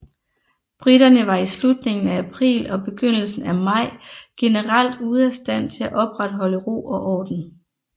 Briterne var i slutningen af april og begyndelsen af maj generelt ude af stand til at opretholde ro og orden